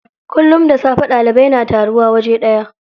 Kullum da safe ɗalibai na taruwa waje ɗaya.